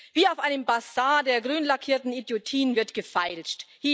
Wie auf einem Basar der grünlackierten Idiotien wird gefeilscht.